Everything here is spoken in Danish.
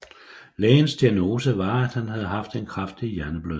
Lægens diagnose var at han havde haft en kraftig hjerneblødning